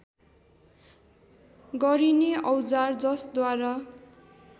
गरिने औजार जसद्वारा